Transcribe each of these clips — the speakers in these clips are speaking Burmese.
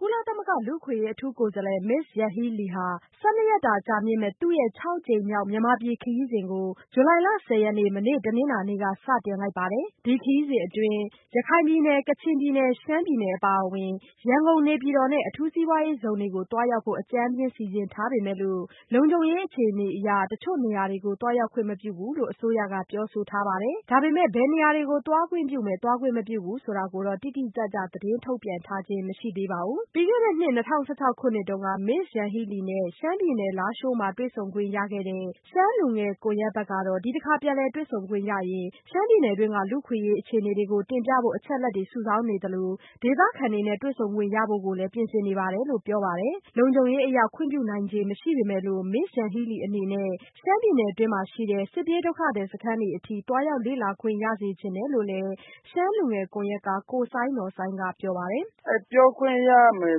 ကုလသမဂ္ဂ လူ့အခွင့်အရေး အထူးကိုယ်စားလှယ် Ms.Yanghee Lee ဟာ ၁၂ ရက်တာ ကြာမြင့်မယ့် သူ့ရဲ့ ၆ ကြိမ်မြောက် မြန်မာပြည်ခရီးစဉ်ကို ဇူလိုင်လ ၁၀ရက်နေ့ မနေ့တနင်္လာနေ့က စတင်လိုက်ပါပြီ။ ဒီခရီးစဉ်အတွင်း ကချင်ပြည်နယ်၊ ရှမ်းပြည်နယ်နဲ့ ရခိုင်ပြည်နယ်အပါအဝင် ရန်ကုန်၊ နေပြည်တော်နဲ့ အထူးစိးပွားရေးဇုန်တို့ကို လည်း သွားရောက်ဖို့ အကြမ်းဖျင်းစီစဉ်ထားပေမယ့်လို့ လုံခြုံရေး အခြေအနေကြောင့် တစ်ချို့နေရာတွေ သွားရောက်ခွင့်မပြုဘူးလို့ အစိုးရကပြောဆိုထားသလိုဘယ်နေရာတွေကိုသွားခွင့်ပြုမယ် ၊ သွားခွင့်မပြုဘူးဆိုတာကိုတော့ တိတိကျကျ သတင်းထုတ်ပြန်ထားခြင်းမရှိသေးပါဘူး။ ပြီးခဲ့တဲ့နှစ် ၂၀၁၆တုန်းက Ms.Yanghee Lee နဲ့ ရှမ်းပြည်နယ် လားရှိုးမှာ တွေ့ဆုံခွင့်ရခဲ့တဲ့ ရှမ်းလူငယ်ကွန်ရက်ဘက်ကတော့ ဒီတခါပြန်လည်တွေ့ဆုံခွင့်ရခဲ့ရင် ရှမ်းပြည်နယ်တွင်းက လူ့အခွင့်အရေးအခြေအနေတွေကို တင်ပြဖို့ အချက်အလက်တွေစုဆောင်းနေသလို ဒေသခံစစ်ပြေးဒုက္ခသည်တွေနဲ့လည်း တွေ့ဆုံခွင့်ရဖို့လည်း ပြင်ဆင်နေတယ်လို့ပြောပါတယ်။ လုံခြုံရေးအရ ခွင့်ပြုနိုင်ခြေမရှိပေမဲ့လို့ Ms.Yanghee Lee အနေနဲ့ ရှမ်းပြည်နယ်တွင်းက စစ်ပြေးဒုက္ခသည်စခန်းတွေအထိသွားရောက်လေ့လာခွင့်ရစေချင်တယ်လို့ ရှမ်းလူငယ်ကွန်ရက်က ကိုစိုင်းနော်စိုင်းကပြောပါတယ်။ “ပြောခွင့်ရမယ်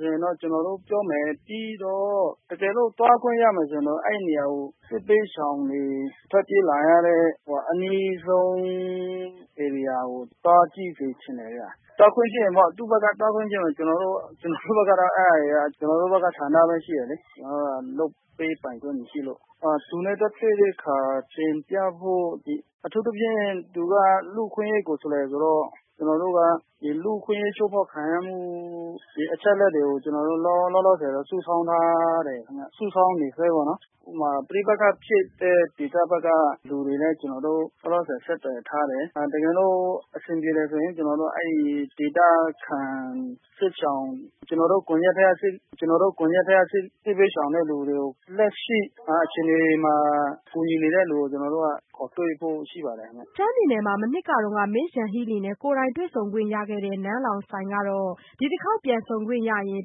ဆိုရင်တော့ ကျနော်တို့ပြောမယ် ပြီးတော့ တကယ်လို့သွားခွင့်ရမယ်ဆိုရင်တော့ စစ်ဘေးရှောင်တွေထွက်ပြေးလာရတဲ့ အနီးဆုံးဧရိယာကို သွားကြည့်စေချင်တယ်ခင်ဗျ ၊ သူ့ဘက်က သွားခွင့်ရှိရင်တော့။ ကျနော်တို့ဘက်ကတော့ အဲဒါဆန္ဒရှိတယ်လေ ကျနော်တို့က လုပ်ပေးပိုင်ခွင့်တော့ မရှိဘူး။ သူနဲ့ သွားတွေ့တဲ့အခါ တင်ပြဖို့ အထူးသဖြင့် သူက လူ့အခွင့်အရေးကိုယ်စားလှယ်ဆိုတော့ ကျနော်တို့က လူ့အခွင့်အရေးချိုးဖောက်ခံရမှု အချက်အလက်တွေကို ကျနော်တို့ လောလောဆယ်တော့ စုဆောင်းထားတယ်၊ စုဆောင်းနေဆဲခင်ဗျ။ ဥပမာ ပဋိပက္ခဖြစ်တဲ့ ဒေသဘက်က လူတွေနဲ့ လောလောဆည် ကျနော်တို့ဆက်သွယ်ထားတယ်။ တကယ်လို့ အဆင်ပြေတယ်ဆိုရင် ကျနော်တို့ ကွန်ယက်ထဲက ဒေသခံစစ်ရှောင်တွေကို လက်ရှိအခြေအနေမှာ ကူညီနေတဲ့လူတွေကို ခေါ်တွေ့ဖို့ရှိပါတယ်ခင်ဗျ။” ရှမ်းပြည်နယ်မှာ မနှစ်က Ms.Yanghee Leeနဲ့ ကိုယ်တိုင်တွေ့ဆုံခွင့်ရခဲ့တဲ့ နန်းလောင်ဝ်ဆိုင်ကတော့ ဒီတခေါက်ပြန်ဆုံခွင့်ရရင်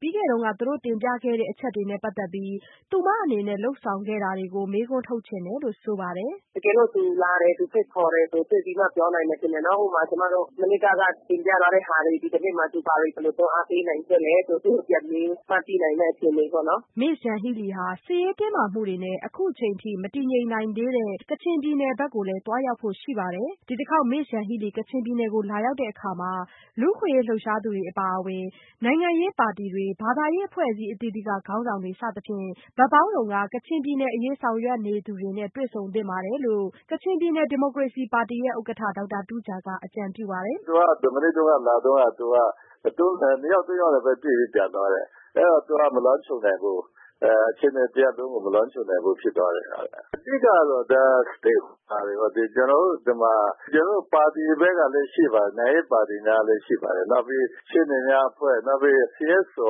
ပြီးခဲ့တုန်းက သူတို့တင်ပြခဲ့တဲ့အချက်တွေနဲ့ပတ်သက်လို့ သူမအနေနဲ့ လုပ်ဆောင်ခဲ့တာတွေကို မေးခွန်းထုတ်ချင်တယ်လို့ဆိုပါတယ်။ “တကယ်လို့ သူလာတယ် သူဖိတ်ခေါ်တယ်ဆိုရင် တွေ့ပြီးမှ ပြောနိုင်မယ်ထင်တယ်နော်။ ဥပမာကျမတို့ မနှစ်ကတင်ပြသွားတဲ့ဟာတွေ ဒီနှစ်မှာ သုူဘာတွေတွန်းအားပေးနိုင်ခဲ့သလဲဆိုတာတွေကို သူ့ကိုပြန်မေးမှ သိနိုင်တာပေါ့နော်။” Ms.Yanghee Lee ဟာ စစ်ရေးတင်းမာမှုတွေနဲ့ အခုအချိန်အထိ မတည်ငြိမ်နိုင်သေးတဲ့ ကချင်ပြည်နယ်ကို သွားရောက်ဖို့လည်းရှိနေပါတယ်။ ဒီတခေါက် Ms.Yanghee Lee ကချင်ပြည်နယ် လာရောက်တဲ့အခါ လူ့အခွင့်အရေးလှုပ်ရှားသူတွေအပါအဝင် နိုင်ငံရေးပါတီတွေ၊ ဘာသာရေးအဖွဲ့အစည်းအသီးသီးက ခေါင်းဆောင်တွေစသဖြင့် ဘက်ပေါင်းစုံက ကချင်ပြည်နယ်အရေးဆောင်ရွက်နေသူတွေနဲ့ တွေ့ဆုံသင့်တယ်လို့ ကချင်ပြည်နယ် ဒီမိုကရေစီပါတီရဲ့ဥက္ကဋ္ဌ ဒေါက်တာတူးဂျာက အကြံပြုပါတယ်။ “သူက မနှစ်တုန်းက လာတုန်းက နှစ်ယောက်၊ သုံးယောက်နဲ့ပဲ တွေ့ပြီး ပြန်သွားတယ်။ အဲ့တော့ သူက မလွှမ်းခြုံနိုင်ဘူး။ အခြေအနေတရပ်လုံးကို မလွှမ်းခြုံနိုင်ဘူးဖြစ်သွားတယ်။ အဓိကကတော့ Stakeholders တွေပေါ့။ ကျနော်တို့နိုင်ငံရေးပါတီတွေဘက်ကလည်းရှိပါတယ်။ နောက်ပြီးရှေ့နေများအဖွဲ့ နောက် CSO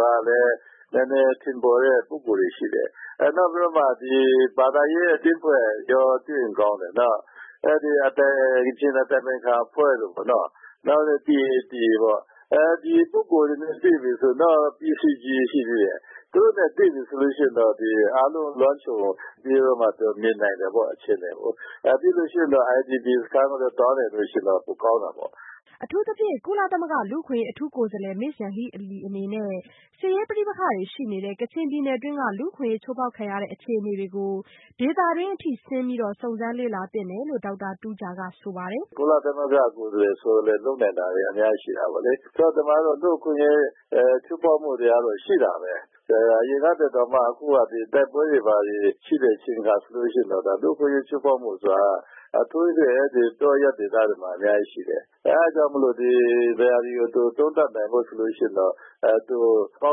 များထဲ နည်းနည်းထင်ပေါ်တဲ့ပုဂ္ဂိုလ်တွေရှိတယ်။ နောက် ဘာသာရေးအသင်းအဖွဲ့တွေလည်း တွေ့ရင်ကောင်းတယ်ပေါ့နော်။ အဲ့ကချင်အတိုင်ပင်ခံအဖွဲ့တို့ပေါ့။ ဒီလိုပုဂ္ဂိုလ်တွေပေါ့။ သူတို့နဲ့တွေ့ပြီဆိုရင် အားလုံးလွှမ်းခြုံပြီးတော့မှ မြင်နိုင်မယ်ပေါ့ အခြေအနေကို။ ပြီးလို့ရှိရင်တော့ IDP စခန်းကို သွားနိုင်ရင်တော့ ပိုကောင်းတာပေါ့။” အထူးသဖြင့် ကုလသမဂ္ဂ လူ့အခွင့်အရေး အထူးကိုယ်စားလှယ် Ms.Yanghee Lee အနေနဲ့ စစ်ရေးပဋိပက္ခတွေရှိနေတဲ့ ကချင်ပြည်နယ်တွင်းက လူ့အခွင့်အရေးချိုးဖောက်ခံနေရတဲ့ အခြေအနေတွေကို ဒေသတွင်းအထိ ဆင်းပြီး စုံစမ်းလေ့လာသင့်တယ်လို့ ဒေါက်တာတူးဂျာက ဆိုပါတယ်။ “ကုလသမဂ္ဂကိုယ်စားလှယ်ဆိုတော့ လုပ်နိုင်တာတွေက အများကြီးရှိတာပေါ့လေ။ ဒီမှာက လူ့အခွင့်အရေးချိုးဖောက်မှုတွေကတော့ ရှိတာပဲ။ အရင်ကထက်စာရင် တိုက်ပွဲတွေရှိတဲ့အချိန်အခါဆိုတော့ လူ့အခွင့်အရေးချိုးဖောက်မှုတွေဟာ အထူးသဖြင့် တောအရပ်ဒေသတွေမှာ အများကြီးရှိတယ်။ အဲ့တာကြောင့် သူ ဒီဟာတွေကို သုံးသပ်နိုင်ဖို့ဆိုလို့ရှိရင်တော့ အကော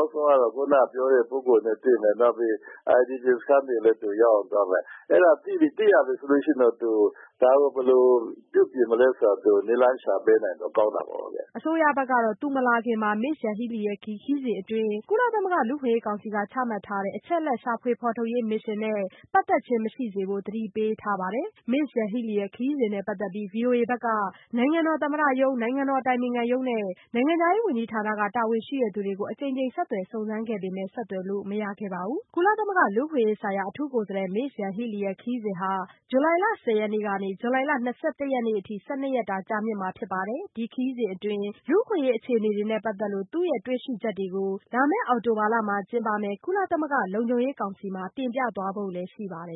င်းဆုံးကတော့ အခုနကပြောတဲ့ပုဂ္ဂိုလ်တွေနဲ့တွေ့မယ်။ IDP စခန်းတွေလည်း သူရောက်အောင်သွားမယ်။ အဲ့တာကိုသူသိရပြီဆိုရင်တော့ ဒါကို ဘယ်လိုပြုပြင်နိုင်မလဲဆိုတာ နည်းလမ်းရှာပေးနိုင်ရင်တော့ ကောင်းတာပေါ့။” အစိုးရဘက်ကတော့ သူမလာခင်မှာပဲ Ms.Yanghee Lee ရဲ့ဒီခရီးစဉ်တွင်း ကုလသမဂ္ဂ လူ့အခွင့်အရေး ကောင်စီက ချမှတ်ထားတဲ့ အချက်အလက် ရှာဖွေဖော်ထုတ်ရေး မစ်ရှင်နဲ့ ပတ်သက်ခြင်း မရှိစေဖို့ သတိပေးထားပါတယ်။ Ms.Yanghee Lee ခရီးစဉ်နဲ့ပတ်သက်ပြီး ဗွီအိုအေဘက်က နိုင်ငံတော်သမ္မတရုံး၊ နိုင်ငံတော်အတိုင်ပင်ခံရုံးနဲ့ နိုင်ငံခြားရေးဝန်ကြီးဌာနက တာဝန်ရှိသူတွေကို အကြိမ်ကြိမ်ဆက်သွယ်စုံစမ်းခဲ့ပေမဲ့ ဆက်သွယ်လို့မရခဲ့ပါဘူး။ကုလသမဂ္ဂ လူ့အခွင့်အရေးဆိုင်ရာ အထူးကိုယ်စားလှယ် Ms.Yanghee Lee ရဲ့ ဒီခရီးစဉ်ဟာ ဇူလိုင် ၁၀ ရက်နေ့ကနေ ၂၁ ရက်နေ့အထိ ၁၂ ရက်တာ ကြာမြင့်မှာ ဖြစ်ပါတယ်။ ဒီခရီးစဉ်အတွင်း လူ့အခွင့်အရေးအခြေအနေတွေနဲ့ ပတ်သက်လို့ တွေ့ရှိချက်တွေကို လာမယ့် အောက်တိုဘာလမှာ ကျင်းပမယ့် ကုလသမဂ္ဂ လုံခြုံရေးကောင်စီမှာ တင်ပြသွားဖို့ ရှိပါတယ်